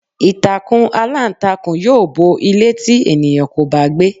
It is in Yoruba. Ìtàkùn aláǹtakùn yóò bo ilé tí ènìyàn kò bá gbé.